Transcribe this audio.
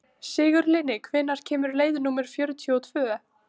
Sigurlinni, hvenær kemur leið númer fjörutíu og tvö?